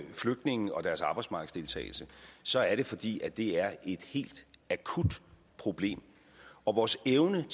flygtninge og deres arbejdsmarkedsdeltagelse så er det fordi det er et helt akut problem og vores evne